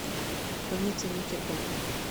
больница никербокер